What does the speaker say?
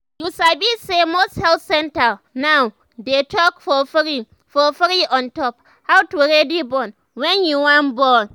you sabi say most health centers now they talk for free for free ontop how to ready born wen you wan born